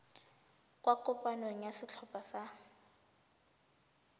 kwa kopanong ya setlhopha sa